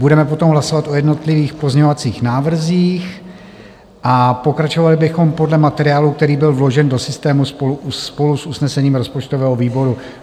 Budeme potom hlasovat o jednotlivých pozměňovacích návrzích a pokračovali bychom podle materiálu, který byl vložen do systému spolu s usnesením rozpočtového výboru.